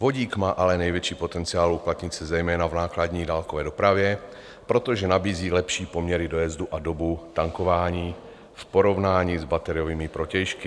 Vodík má ale největší potenciál uplatnit se zejména v nákladní dálkové dopravě, protože nabízí lepší poměry dojezdu a dobu tankování v porovnání s bateriovými protějšky.